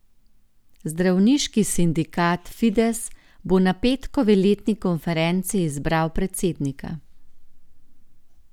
Zdravniški sindikat Fides bo na petkovi letni konferenci izbiral predsednika.